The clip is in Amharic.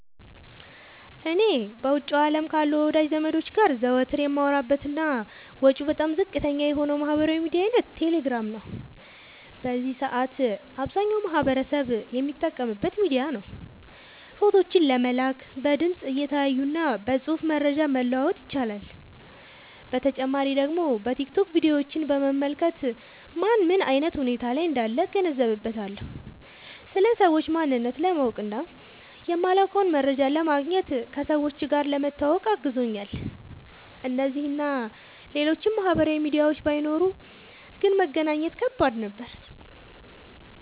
እኔ በውጭው አለም ካሉ ወዳጅ ዘመዶቸ ጋር ዘወትር የማወራበት እና ወጪው በጣም ዝቅተኛ የሆነው የማህበራዊ ሚዲያ አይነት ቴሌግራም ነው። በዚህ ሰአት አብዛኛው ማህበረሰብ የሚጠቀምበት ሚዲያ ነው። ፎቶዎችን ለመላላክ፣ በድምፅ(እየተያዩ) እና በፅሁፍ መረጃ መለዋወጥ ይቻላል። በተጨማሪ ደግሞ በቲክቶክ ቪዲዮችን በመመልከት ማን ምን አይነት ሁኔታ ላይ እንዳለ እገነዘብበታለሁ። ስለ ሰዎች ማንነት ለማወቅ እና የማላውቀውን መረጃ ለማግኘት፣ ከሰዎች ጋር ለመተዋወቅ አግዞኛል። እነዚህ እና ሌሎችም ማህበራዊ ሚዲያዎች ባይኖሩ ግን መገናኘት ከባድ ነበር።